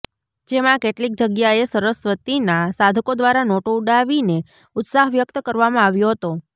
જેમાં કેટલીક જગ્યાએ સરસ્વતીના સાધકો દ્વારા નોટો ઉડાવીને ઉત્સાહ વ્યક્ત કરવામાં આવ્યો હતો